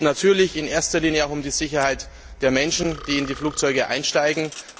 Es geht natürlich in erster Linie um die Sicherheit der Menschen, die in ein Flugzeug einsteigen.